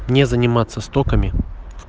не заниматься стоками